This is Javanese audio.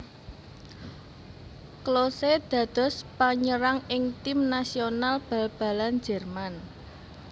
Klose dados panyerang ing tim nasional bal balan Jérman